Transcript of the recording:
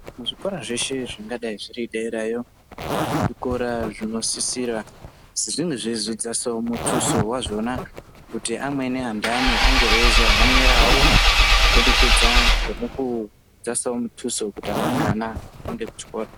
Muzvikora zveshe zvingadai zviriderayo, zvikora zvinosisira kunge zveidzasawo mutuso wazvona kuti amweni anthani ange eizohanirawo kubudikidza ngemukudzasawowo mutuso wekuti amweni ana aendewo kuchikoro.